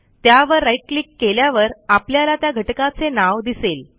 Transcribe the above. त्यावर right click केल्यावर आपल्याला त्या घटकाचे नाव दिसेल